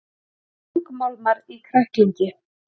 Þungmálmar í kræklingi